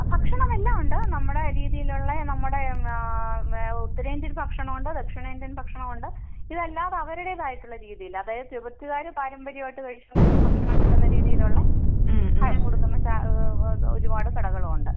ഭക്ഷണം എല്ലാം ഉണ്ട്. നമ്മുടെ രീതിയിലുള്ള നമ്മുടെ ആഹ് ഉത്തരേന്ത്യൻ ഭക്ഷണവുണ്ട് ദക്ഷിണേന്ത്യൻ ഭക്ഷണവുണ്ട് ഇതല്ലാതെ അവരുടേതായിട്ടുള്ള രീതിയിൽ അതായത് ടിബെറ്റ്കാർ പാരമ്പര്യമായിട്ടു കഴിച്ച് കൊണ്ടിരിക്കുന്ന ഭക്ഷണം കിട്ടുന്ന രീതിയിലുള്ള ആഹാരം കൊടുക്കുന്ന ഒരുപാട് കടകളും ഉണ്ട്.